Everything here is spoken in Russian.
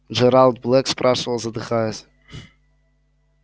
джералд блэк спрашивал задыхаясь